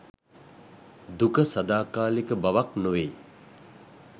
දුක සදාකාලික බවක් නොවෙයි.